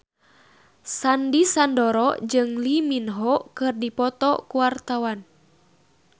Sandy Sandoro jeung Lee Min Ho keur dipoto ku wartawan